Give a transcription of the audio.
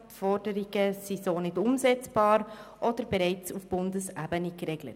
Die Forderungen sind so nicht umsetzbar oder bereits auf Bundesebene geregelt.